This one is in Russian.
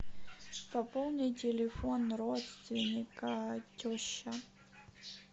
пополни телефон родственника теща